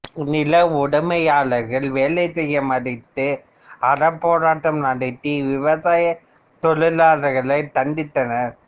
நில உடமையாளர்கள் வேலை செய்ய மறுத்து அறப்போராட்டம் நடத்திய விவசாய தொழிலாளர்களைத் தண்டித்தனர்